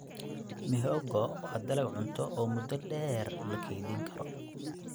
Mihogo waa dalag cunto oo muddo dheer la kaydin karo.